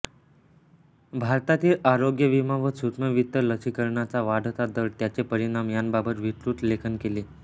भारतातील आरोग्य विमा व सूक्ष्मवित्त लस्सीकरणाचा वाढता दर व त्याचे परिणाम यांबाबत विस्तृत लेखन केले